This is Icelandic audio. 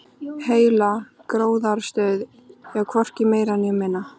Heila gróðrarstöð, já, hvorki meira né minna.